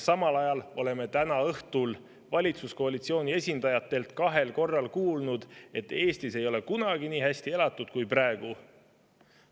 Samas oleme täna õhtul valitsuskoalitsiooni esindajatelt kahel korral kuulnud, et Eestis ei ole kunagi nii hästi elatud kui praegu.